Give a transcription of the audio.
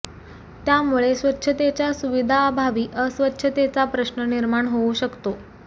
त्यामुळे स्वच्छतेच्या सुविधाअभावी अस्वच्छतेचा प्रश्न निर्माण होवू शकतो